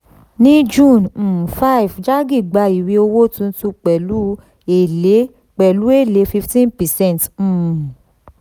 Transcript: ní june um five jaggi gba ìwé owó tuntun pẹ̀lú èlé pẹ̀lú èlé fifteen percent um